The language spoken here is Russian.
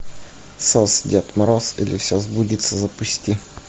сос дед мороз или все сбудется запусти